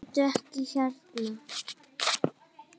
Bíddu. ekki hérna!